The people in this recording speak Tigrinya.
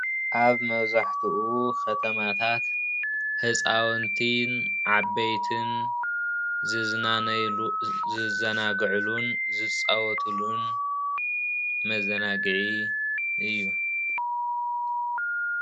ኣብ መብዛሕቱኡ ከተማታት ህፃውንትን ዓበይትን ዝዝናነይሉን ዝዘናግዕሉን ዝፃወቱሉን መዘናግዒ እዩ።